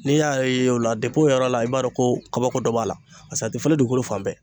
N'i y'a ye o la o yɔrɔ la i b'a dɔn ko kabako dɔ b'a la .Paseke a te falen dugukolo fan bɛɛ.